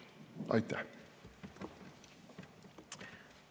Aitäh!